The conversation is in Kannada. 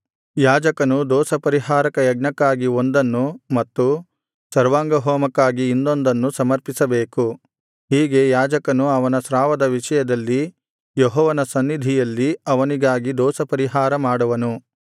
ಯಾಜಕನು ದೋಷಪರಿಹಾರಕ ಯಜ್ಞಕ್ಕಾಗಿ ಒಂದನ್ನು ಮತ್ತು ಸರ್ವಾಂಗಹೋಮಕ್ಕಾಗಿ ಇನ್ನೊಂದನ್ನು ಸಮರ್ಪಿಸಬೇಕು ಹೀಗೆ ಯಾಜಕನು ಅವನ ಸ್ರಾವದ ವಿಷಯದಲ್ಲಿ ಯೆಹೋವನ ಸನ್ನಿಧಿಯಲ್ಲಿ ಅವನಿಗಾಗಿ ದೋಷಪರಿಹಾರ ಮಾಡುವನು